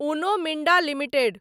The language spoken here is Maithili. उनो मिन्डा लिमिटेड